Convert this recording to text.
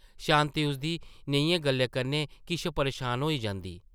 शांति उसदी नेहियें गल्लें कन्नै किश परेशान होई जंदी ।